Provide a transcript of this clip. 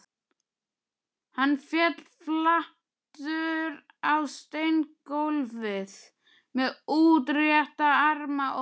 Hann féll flatur á steingólfið með útrétta arma og rím